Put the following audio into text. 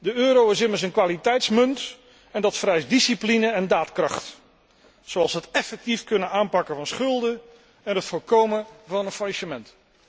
De euro is immers een kwaliteitsmunt en dat vereist discipline en daadkracht, zoals het effectief kunnen aanpakken van schulden en het voorkomen van een faillissement.